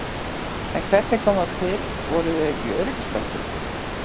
En hvernig kom það til, voru þau ekki í öryggisbeltum?